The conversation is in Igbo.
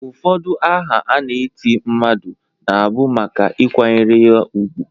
Ụfọdụ aha a na-eti mmadụ na bụ maka ịkwanyere ya ugwu.